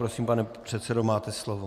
Prosím, pane předsedo, máte slovo.